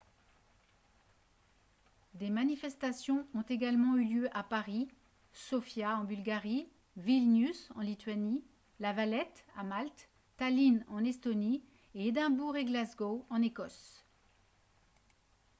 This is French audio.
des manifestations ont également eu lieu à paris sofia en bulgarie vilnius en lituanie la valette à malte tallinn en estonie et édimbourg et glasgow en écosse